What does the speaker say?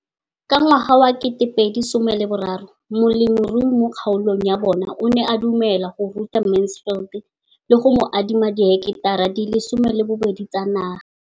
Ka ngwaga wa 2013, molemirui mo kgaolong ya bona o ne a dumela go ruta Mansfield le go mo adima di heketara di le 12 tsa naga.